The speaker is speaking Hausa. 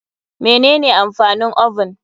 Mene ne amfanin oven?